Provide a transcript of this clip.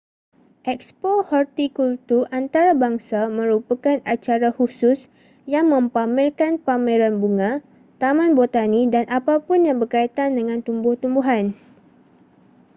ekspo hortikultur antarabangsa merupakan acara khusus yang mempamerkan pameran bunga taman botani dan apapun yang berkaitan dengan tumbuh-tumbuhan